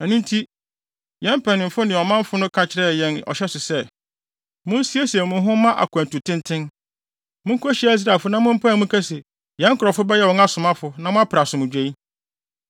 Ɛno nti, yɛn mpanyimfo ne ɔmanfo no ka kyerɛɛ yɛn ɔhyɛ so sɛ, ‘Munsiesie mo ho mma akwantu tenten. Munkohyia Israelfo na mompae mu nka se “Yɛn nkurɔfo bɛyɛ wɔn asomfo na mompere asomdwoe.” ’